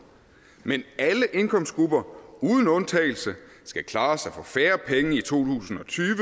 men alle indkomstgrupper uden undtagelse skal klare sig for færre penge i to tusind og tyve